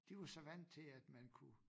De var så vandt til at man kunne